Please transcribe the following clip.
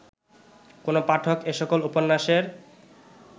কোন পাঠক এ সকল উপন্যাসের